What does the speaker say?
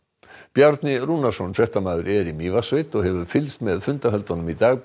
Bjarni Rúnarsson fréttamaður er í Mývatnssveit og hefur fylgst með fundahöldunum í dag